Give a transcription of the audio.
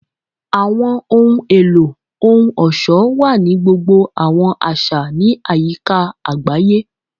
Awọn ohun elo ohun-ọṣọ wa ni gbogbo awọn aṣa ni ayika agbaye.